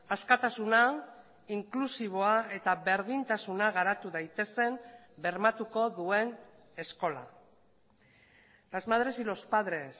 askatasuna inklusiboa eta berdintasuna garatu daitezen bermatuko duen eskola las madres y los padres